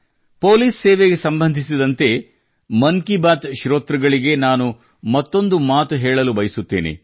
police ಸೇವೆಗೆ ಸಂಬಂಧಿಸಿದಂತೆ ಮನ್ ಕಿ ಬಾತ್ ಶ್ರೋತೃಗಳಿಗೆ ನಾನು ಮತ್ತೊಂದು ಮಾತ ಹೇಳಲು ಬಯಸುತ್ತೇನೆ